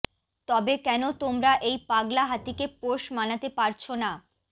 তবে কেন তোমরা এই পাগলা হাতিকে পোষ মানাতে পারছো না